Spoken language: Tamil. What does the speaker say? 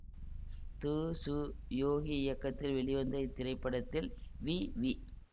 து சு யோகி இயக்கத்தில் வெளிவந்த இத்திரைப்படத்தில் வி வி